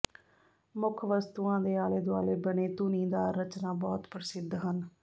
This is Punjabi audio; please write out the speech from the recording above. ਮੁੱਖ ਵਸਤੂਆਂ ਦੇ ਆਲੇ ਦੁਆਲੇ ਬਣੇ ਧੁਨੀਦਾਰ ਰਚਨਾ ਬਹੁਤ ਪ੍ਰਸਿੱਧ ਹਨ